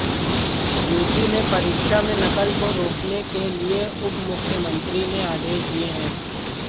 UP में परीक्षा में नकल को रोकने के लिए उपमुख्यमंत्री ने आदेश दिए हैं